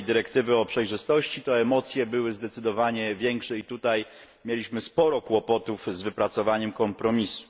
dyrektywy o przejrzystości, to emocje były zdecydowanie większe i tutaj mieliśmy sporo kłopotów z wypracowaniem kompromisu.